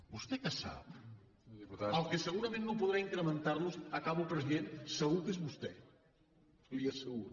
vostè què sap el que segurament no podrà incrementar los acabo president segur que és vostè li ho asseguro